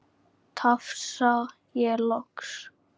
tafsa ég loks.